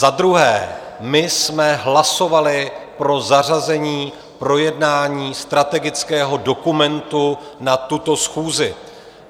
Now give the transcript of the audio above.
Za druhé, my jsme hlasovali pro zařazení projednání strategického dokumentu na tuto schůzi.